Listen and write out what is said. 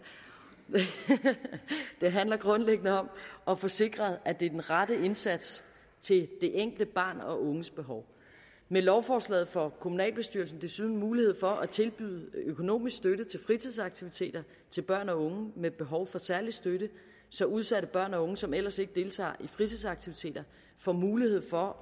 jeg det handler grundlæggende om at få sikret at det er den rette indsats til det enkelte barn og unges behov med lovforslaget får kommunalbestyrelserne desuden mulighed for at tilbyde økonomisk støtte til fritidsaktiviteter til børn og unge med behov for særlig støtte så udsatte børn og unge som ellers ikke deltager i fritidsaktiviteter får mulighed for